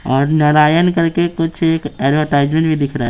और नारायण करके कुछ एक एडवर्टाइजमेंट भी दिख रहा है।